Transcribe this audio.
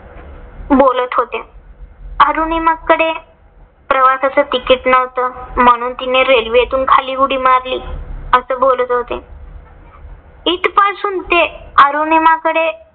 बोलत होते. अरुनिमाकडे प्रवासच ticket नव्हत. म्हणून तिने रेल्वेतून खाली उडी मारली अस बोलत होते. इथपासून ते अरुनिमाकडे